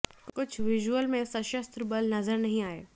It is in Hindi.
कुछ विजुअल में सशस्त्र बल नज़र नहीं आए